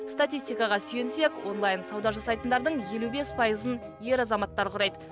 статистикаға сүйінсек онлайн сауда жасайтындардың елу бес пайызын ер азаматтар құрайды